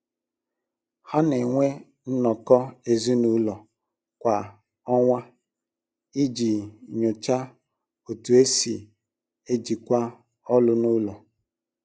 Ha na-enwe nnọkọ ezinụlọ kwa ọnwa iji nyochaa otú e si ejikwa ọlụ n’ụlọ.